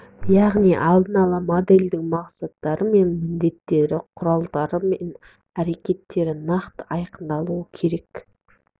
яғни алдын ала модельдің мақсаттары мен міндеттері құралдары мен әрекеттері нақты айқындалуы керек